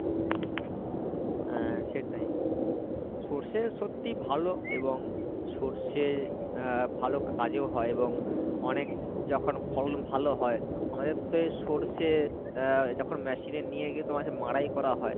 আহ সেটাই সর্ষে সত্যি ভালো এবং সর্ষে আহ ভালো কাজেও হয় এবং অনেক যখন ফলন ভালো হয় আমাদের তো এই সর্ষে আহ যখন machine এ নিয়ে গিয়ে তোমার সেই মাড়াই করা হয় হয়